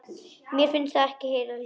Mér fannst ég heyra hljóð.